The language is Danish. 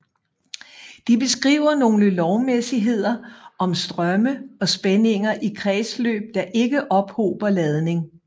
De beskriver nogle lovmæssigheder om strømme og spændinger i kredsløb der ikke ophober ladning